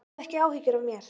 Hafðu ekki áhyggjur af mér.